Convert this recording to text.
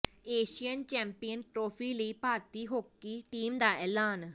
Asian champion trophy ਲਈ ਭਾਰਤੀ hockey team ਦਾ ਐਲਾਨ